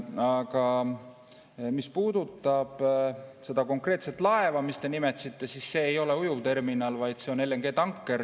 Aga mis puudutab seda konkreetset laeva, mida te nimetasite, siis see ei ole ujuvterminal, vaid LNG‑tanker.